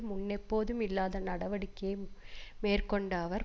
முன்னெப்போதும் இல்லாத நடவடிக்கை மேற்கொண்ட அவர்